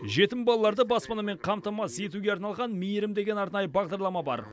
жетім балаларды баспанамен қамтамасыз етуге арналған мейірім деген арнайы бағдарлама бар